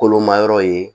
Kolomayɔrɔ ye